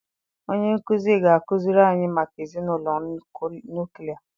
Onye nkụzi ga-akụziri anyị maka ezinụlọ nuklia